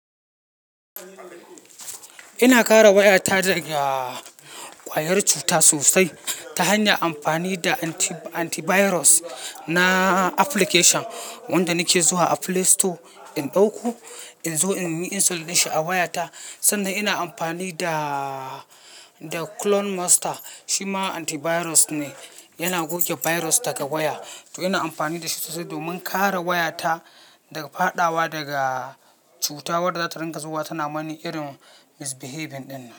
Ina kare waya ta daga ƙwayar cuta sosai ta hanyar amfani da anti-virus na application wanda nake zuwa a Play Store in ɗauko in zo in yi installation din shi a waya ta. Sannan ina amfani da, da Clone Master shi ma antivirus ne, yana goge virus daga waya. To ina amfani da shi sosai domin kare wayata daga faɗawa daga cutar wadda za ta ringa zuwa tana mani irin misbehaving dinnan.